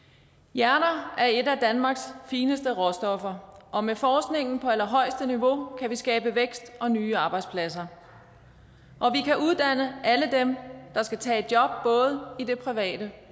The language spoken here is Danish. hjernen er et af danmarks fineste råstoffer og med forskning på allerhøjeste niveau kan vi skabe vækst og nye arbejdspladser og vi kan uddanne alle dem der skal tage et job både i det private